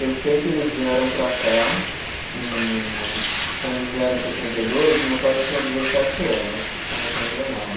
Eu sei que eles vieram para cá em, quando eles vieram em sessenta e dois, meu pai tinha dezessete anos, se eu não estou enganado.